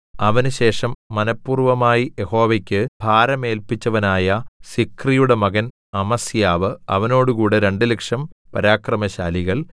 അവനുശേഷം മനഃപൂർവ്വമായി യഹോവയ്ക്ക് ഭരമേല്പിച്ചവനായ സിക്രിയുടെ മകൻ അമസ്യാവ് അവനോടുകൂടെ രണ്ടുലക്ഷം 200000 പരാക്രമശാലികൾ